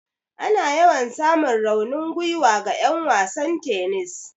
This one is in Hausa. Ana yawan samun raunin gwiwa ga 'yan wasan tennis.